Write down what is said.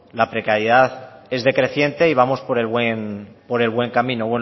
la precariedad es decreciente y vamos por el buen camino bueno